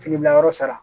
Fini bila yɔrɔ sara